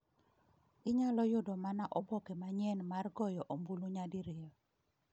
Inyalo yudo mana oboke manyien mar goyo ombulu nyadi riyo.